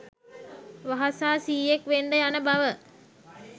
වහසා සීයෙක් වෙන්ඩ යන බව